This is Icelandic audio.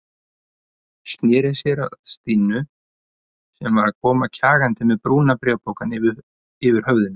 Sneri sér að Stínu sem var að koma kjagandi með brúna bréfpokann yfir höfðinu.